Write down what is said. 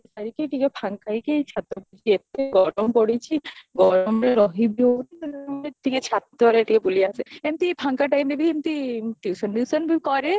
ସାରିକି ଟିକେ ଫାଙ୍କ ହେଇକି ଛାତ ଉପରେ ଏତେ ଗରମ ପଡିଛି ଗରମ ବି ରହିବା ଟିକେ ଛାତରେ ଟିକେ ବୁଲି ଆସେ ଏମତି ଫାଙ୍କ timeରେ ବି ଏମତି tuition ଫିଉସନ ବି କରେ